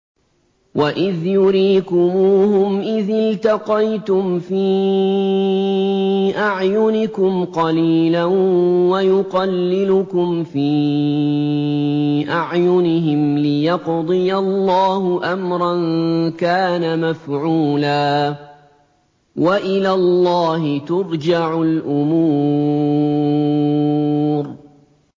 وَإِذْ يُرِيكُمُوهُمْ إِذِ الْتَقَيْتُمْ فِي أَعْيُنِكُمْ قَلِيلًا وَيُقَلِّلُكُمْ فِي أَعْيُنِهِمْ لِيَقْضِيَ اللَّهُ أَمْرًا كَانَ مَفْعُولًا ۗ وَإِلَى اللَّهِ تُرْجَعُ الْأُمُورُ